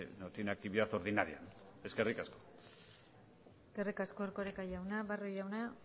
no tiene actividad ordinaria eskerrik asko eskerrik asko erkoreka jauna barrio jauna